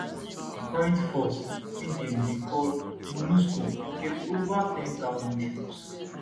di current force wey dem dey call monusco get ova 10000 troops